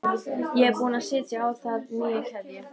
Ég er búin að setja á það nýja keðju